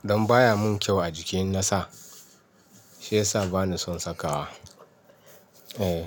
Dan baya mun kyau a jiki in na sa. Shiyasa bani son saka wa. Eh.